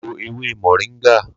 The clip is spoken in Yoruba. Lo ewé moringa!